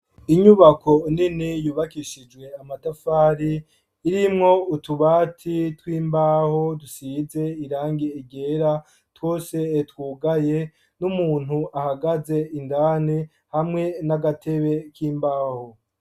Inyubako nini yubakishijwe amatafari irimwo utubati tw'imbaho dusize irangi ryera twose twugaye n'umuntu ahagaze indani hamwe n'agatebe k'imbaho.